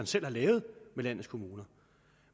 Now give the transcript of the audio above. selv har lavet med landets kommuner